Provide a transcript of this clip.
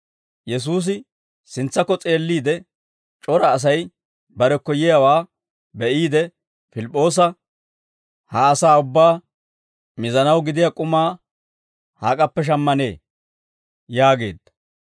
Yesuusi sintsakko s'eelliide, c'ora Asay barekko yiyaawaa be'iide Pilip'p'oosa, «Ha asaa ubbaa mizanaw gidiyaa k'umaa hak'appe shammanee?» yaageedda.